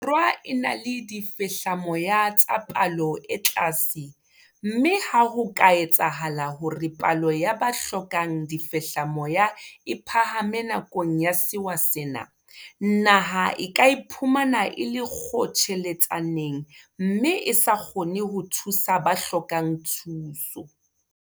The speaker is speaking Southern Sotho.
Borwa e na le difehlamoya tsa palo e tlase mme ha ho ka etsahala hore palo ya ba hlokang difehlamoya e phahame nakong ya sewa sena, naha e ka iphumana e le kgotjheletsaneng mme e sa kgone ho thusa ba hlokang thuso.